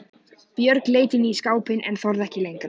Björg leit inn í skápinn en þorði ekki lengra.